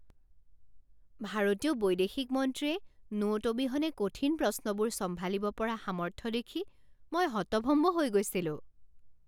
ভাৰতীয় বৈদেশিক মন্ত্ৰীয়ে নোট অবিহনে কঠিন প্ৰশ্নবোৰ চম্ভালিব পৰা সামৰ্থ্য দেখি মই হতভম্ব হৈ গৈছিলোঁ!